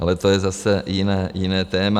Ale to je zase jiné téma.